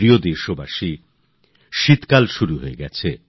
আমার প্রিয় দেশবাসী শীতের মরশুম শুরু হচ্ছে